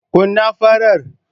Kun na farar